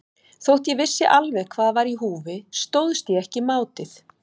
Þótt ég vissi alveg hvað var í húfi stóðst ég ekki mátið.